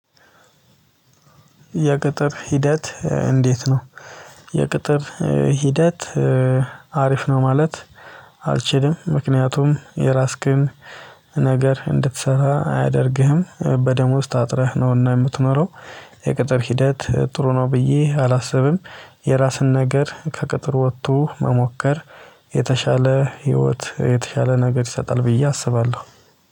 የቅጥር ሂደት እንዴት ነው? የቅጥር ሂደት አሪፍ ነው ማለት። አልችልም ምክንያቱም የራስክን ነገር እንድትሰራ አያደርግህም በደሞዝ ታጥረህ ነውና የምትኖረው። የቅጥር ሂደት ጥሩ ነው ብዬ አላስብም። የራስን ነገር ከቅጥር ወጥቶ መሞከር የተሻለ ህይወት የተሻለ ነገር ይሰጣል ብዬ አስባለሁ